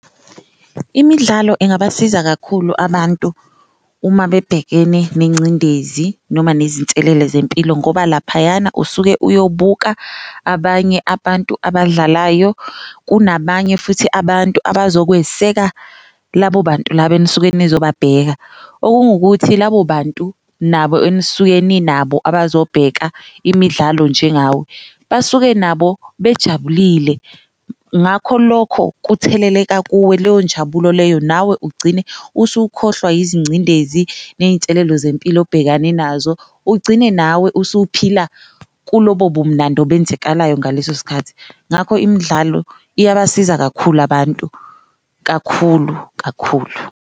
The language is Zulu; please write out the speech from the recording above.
Imidlalo ingabasiza kakhulu abantu uma bebhekene nencindezi noma nezinselele zempilo ngoba laphayana usuke uyobuka abanye abantu abadlalayo, kunabanye futhi abantu abazokweseka labo bantu laba enisuke nizobabheka. Okungukuthi labo bantu nabo enisuke ninabo abazobheka imidlalo njengawe basuke nabo bajabulile, ngakho lokho kutheleleka kuwe leyo njabulo leyo nawe ugcine usukhohlwa yizincindezi neyinselelo zempilo obhekene nazo. Ugcine nawe usuphila kulobo bumunandi obenzekalayo ngaleso sikhathi, ngakho imidlalo iyabasiza kakhulu abantu kakhulu kakhulu.